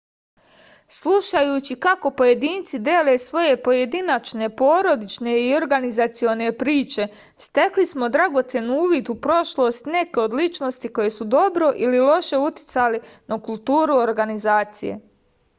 slušajući kako pojedinci dele svoje pojedinačne porodične i organizacione priče stekli smo dragocen uvid u prošlost i neke od ličnosti koje su dobro ili loše uticale na kulturu organizacije